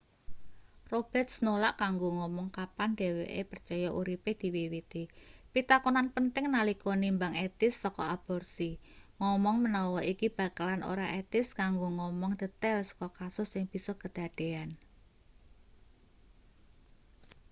roberts nolak kanggo ngomong kapan dheweke percaya uripe diwiwiti pitakonan penting nalika nimbang etis saka aborsi ngomong menawa iki bakalan ora etis kanggo ngomong detail saka kasus sing bisa kedadean